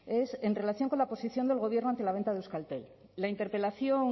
es en relación con la posición del gobierno ante la venta de euskaltel la interpelación